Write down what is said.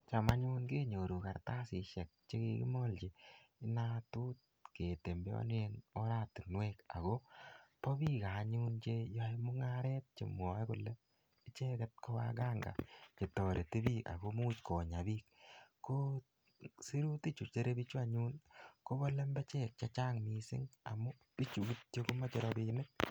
cham anyun kenyoruu kartasishek chekikimalchi natut ketembeani eng oratinwek. ako pa piik che ae mungaret chemwoe kole ichet kowaganga chetarti piik ako imuch konyapiik. ko sirutik sire pichu kopalembechek chechang amuu pichu komache rapinik.